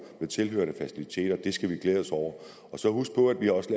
med tilhørende faciliteter det skal man glæde sig over og så huske på at vi også